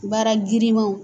Baara girinmaw